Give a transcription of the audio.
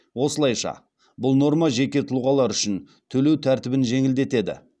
осылайша бұл норма жеке тұлғалар үшін төлеу тәртібін жеңілдетеді